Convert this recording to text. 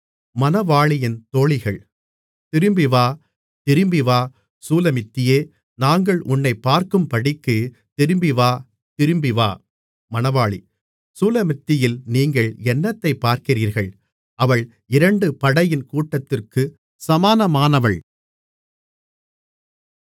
திரும்பிவா திரும்பிவா சூலமித்தியே நாங்கள் உன்னைப் பார்க்கும்படிக்கு திரும்பிவா திரும்பிவா மணவாளி சூலமித்தியில் நீங்கள் என்னத்தைப் பார்க்கிறீர்கள் அவள் இரண்டு படையின் கூட்டத்திற்குச் சமானமானவள்